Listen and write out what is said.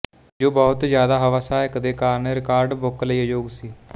ਜੋ ਬਹੁਤ ਜ਼ਿਆਦਾ ਹਵਾ ਸਹਾਇਤਾ ਦੇ ਕਾਰਨ ਰਿਕਾਰਡ ਬੁੱਕ ਲਈ ਅਯੋਗ ਸੀ